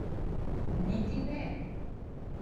Niti ne.